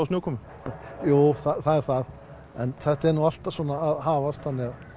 snjókomu jú það er það en þetta er nú allt svona að hafast